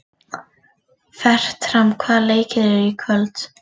Fertram, hvaða leikir eru í kvöld?